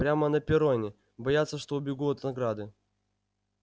прямо на перроне боятся что убегу от награды